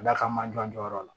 A da ka jɔn jɔyɔrɔ la